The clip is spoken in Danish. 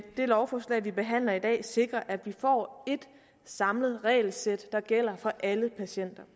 det lovforslag vi behandler i dag sikrer at vi får et samlet regelsæt der gælder for alle patienter